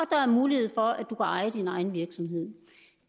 er mulighed for at du kan eje din egen virksomhed